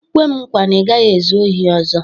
"kwe m nkwa na ị gaghị ezu ohi ọz"